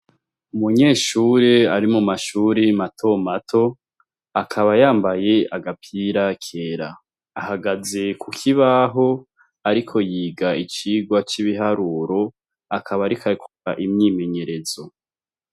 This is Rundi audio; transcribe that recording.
Umunyeshure ari mu mashure matomato akaba yambaye agapira kera. Ahagaze kukibaho ariko yiga icigwa c'ibiharuro, akaba ariko Akora imyimenyerezo.